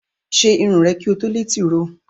Ṣe irun rè kí o tó lé tìróò!